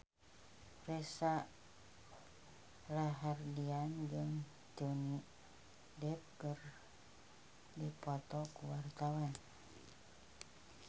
Reza Rahardian jeung Johnny Depp keur dipoto ku wartawan